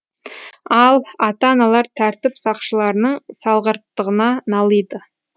ал ата аналар тәртіп сақшыларының салғырттығына налиды